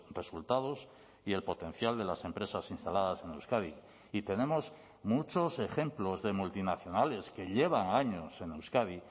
resultados y el potencial de las empresas instaladas en euskadi y tenemos muchos ejemplos de multinacionales que llevan años en euskadi